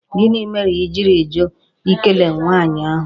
Gịnị mere I jiri jụ Ị kele nwaanyị ahụ?